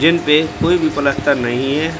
जिन पे कोई भी पलस्तर नहीं है।